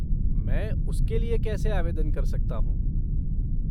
मैं उसके लिए कैसे आवेदन कर सकता हूँ?